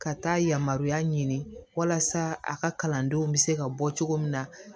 Ka taa yamaruya ɲini walasa a ka kalandenw bɛ se ka bɔ cogo min na